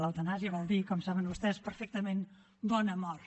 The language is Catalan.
l’eutanàsia vol dir com saben vostès perfectament bona mort